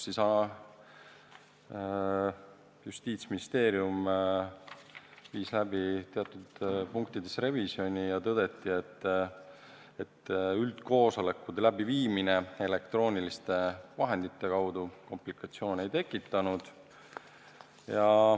Justiitsministeerium viis läbi teatud punktides revisjoni ja tõdeti, et üldkoosolekute läbiviimine elektrooniliste vahendite abil komplikatsioone ei ole tekitanud.